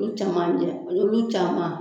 caman olu caman.